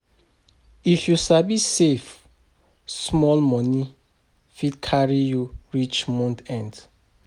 If you sabi save, small money fit carry you reach month end.